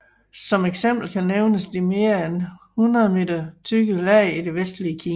Som eksempel kan nævnes de mere end 100 m tykke lag i det vestlige Kina